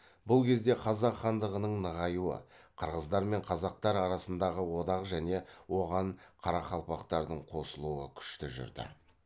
бұл кезде қазақ хандығының нығаюы қырғыздар мен қазақтар арасындағы одақ және оған қарақалпақтардың қосылуы күшті жүрді